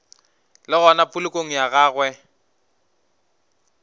le gona polokong ya gagwe